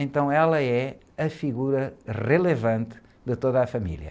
Então ela é a figura relevante de toda a família.